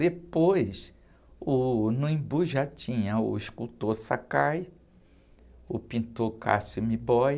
Depois, uh, no Embu já tinha o escultor Sakai, o pintor Cassio M'Boy,